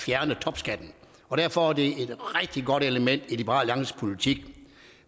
fjerne topskatten og derfor er det et rigtig godt element i liberal alliances politik